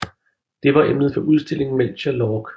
Det var emnet for udstillingen Melchior Lorck